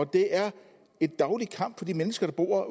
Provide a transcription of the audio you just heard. det er en daglig kamp for de mennesker der bor